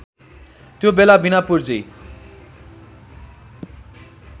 त्यो बेला बिना पुर्जी